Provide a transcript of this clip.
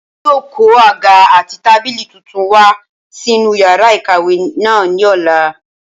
Wọn yóò kó àga àti tábìlì tuntun wá sí inú yàrá ìkàwé náà ní ọ̀la